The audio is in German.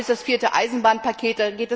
Wir haben jetzt das vierte Eisenbahnpaket.